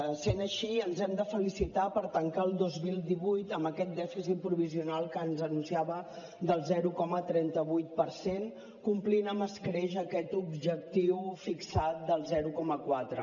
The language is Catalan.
essent així ens hem de felicitar per tancar el dos mil divuit amb aquest dèficit provisional que ens anunciava del zero coma trenta vuit per cent complint amb escreix aquest objectiu fixat del zero coma quatre